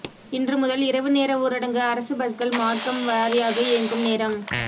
இன்று முதல் இரவு நேர ஊரடங்கு அரசு பஸ்கள் மார்க்கம் வாரியாக இயங்கும் நேரம்